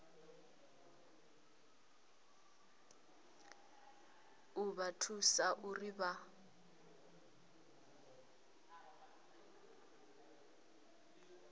u vha thusa uri vha